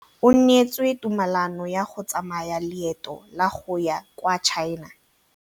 O neetswe tumalanô ya go tsaya loetô la go ya kwa China.